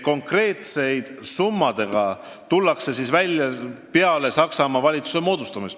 Konkreetsete summadega tullakse välja peale Saksamaa valitsuse moodustamist.